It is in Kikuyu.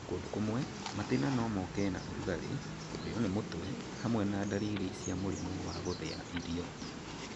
Kũndũ kũmwe, matĩna no moke na ũrugarĩ, kũrĩo nĩ mũtwe hamwe na ndariri cia mũrimũ wa gũthia irio